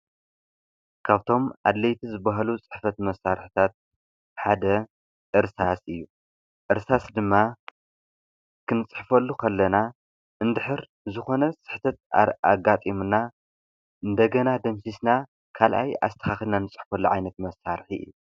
ካብቶም ኣድለይቲ ዝባሃሉ ፅሕፈት መሳርሕታት ሓደ እርሳስ እዩ፡፡ እርሳስ ድማ ክንፅፈሉ ከለና እንድሕር ዝኾነ ፅሕፈት ኣጋጢሙና እንደገና ደምሲስና ካልኣይ ንፅሕፈሉ ዓይነት መሳርሒ እዩ፡፡